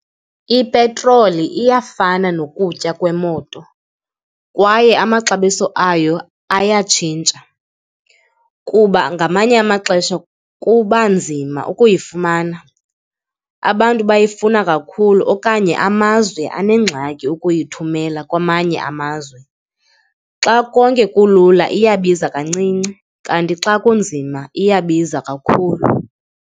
Ipetroli iyafana nokutya kwemoto kwaye amaxabiso ayo ayatshintsha kuba ngamanye amaxesha kuba nzima ukuyifumana, abantu bayifuna kakhulu okanye amazwe anengxaki ukuyithumela kwamanye amazwe. Xa konke kulula iyabiza kancinci kanti xa kunzima iyabiza kakhulu.